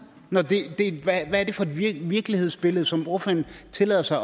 hvad er det for et virkelighedsbillede som ordføreren tillader sig